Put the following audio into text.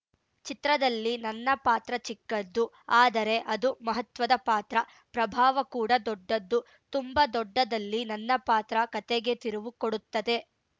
ಚಿತ್ರದಲ್ಲಿ ನನ್ನ ಪಾತ್ರ ಚಿಕ್ಕದ್ದು ಆದರೆ ಅದು ಮಹತ್ವದ ಪಾತ್ರ ಪ್ರಭಾವ ಕೂಡ ದೊಡ್ಡದ್ದು ತುಂಬಾ ದೊಡ್ಡದ್ದಲ್ಲಿ ನನ್ನ ಪಾತ್ರ ಕತೆಗೆ ತಿರುವು ಕೊಡುತ್ತದೆ